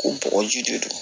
Ko bɔgɔji de don